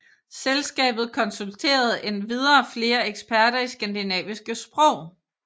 Selskabet konsulterede endvidere flere eksperter i skandinaviske sprog